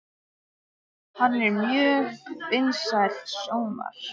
Hann er með mjög vinsælan sjónvarps